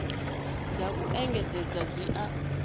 dza u engedzedza dzi a